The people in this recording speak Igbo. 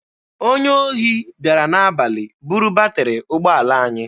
Onye ohi bịara n'abalị buru batịrị ụgbọala anyị.